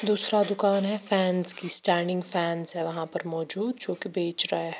दूसरा दुकान है फैंस की स्टैंडिंग फैंस है वहाँ पर मौजूद जो कि बेच रहा है।